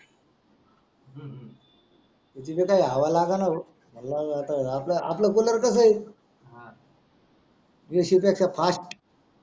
AC काही हवा लागणा हो मला नाही आपल कुलर कस आहे AC पेक्षा फास्ट